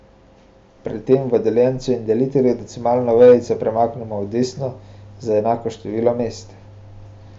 Pri tem v deljencu in delitelju decimalno vejico premaknemo v desno za enako število mest.